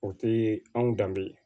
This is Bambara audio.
O te anw danbe ye